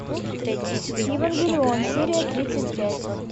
евангелион серия тридцать пять